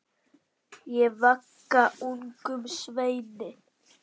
Ég vagga ungum sveini.